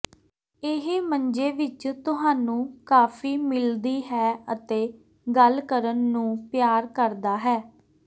ਇਹ ਮੰਜੇ ਵਿੱਚ ਤੁਹਾਨੂੰ ਕਾਫੀ ਮਿਲਦੀ ਹੈ ਅਤੇ ਗੱਲ ਕਰਨ ਨੂੰ ਪਿਆਰ ਕਰਦਾ ਹੈ